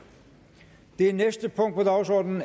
det